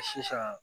Sisan